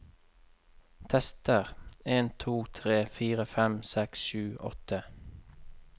Tester en to tre fire fem seks sju åtte